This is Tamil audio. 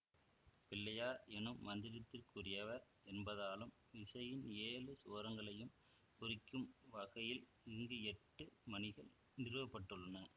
பிள்ளையார் எனும் மந்திரத்திற்குரியவர் என்பதாலும் இசையின் ஏழு சுரங்களையும் குறிக்கும் வகையில் இங்கு எட்டு மணிகள் நிறுவப்பட்டுள்ளன